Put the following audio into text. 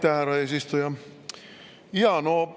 Aitäh, härra eesistuja!